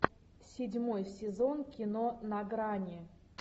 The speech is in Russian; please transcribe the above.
седьмой сезон кино на грани